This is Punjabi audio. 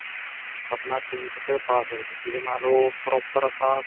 ਆਪਣਾ ਸੀਂਖ ਚ ਪਾ ਸਕਦੇ ਓ ਜਿਹਦੇ ਨਾਲ ਓ proper ਆਪਾਂ